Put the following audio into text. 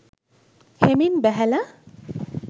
හෙමින් බැහැල